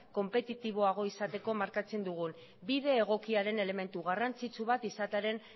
konpetitiboagoa izateko markatzen dugun bide egokiaren elementu garrantzitsu bat izatearen